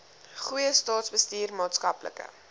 goeie staatsbestuur maatskaplike